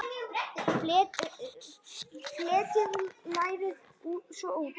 Fletjið lærið svo út.